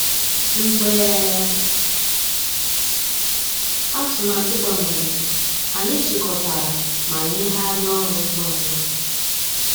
Mgbeé àtụ̀màtụ́ gbànwèrè, ànyị́ chị́kọ̀tàrà má nyéghàríá ọ́rụ́ ngwá ngwá.